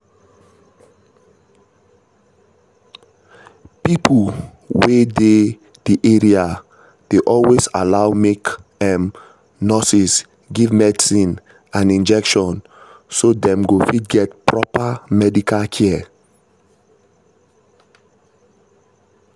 pipo wey dey the area dey always allow make um nurses give medicine and injections so dem go fit get proper medical care.